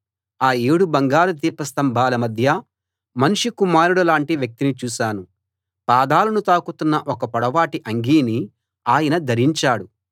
ఆ ఏడు బంగారు దీపస్తంభాల మధ్య మనుష్య కుమారుడిలాంటి వ్యక్తిని చూశాను పాదాలను తాకుతున్న ఒక పొడవాటి అంగీని ఆయన ధరించాడు రొమ్ముకు బంగారు నడికట్టు కట్టుకుని ఉన్నాడు